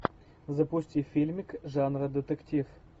запусти фильмик жанра детектив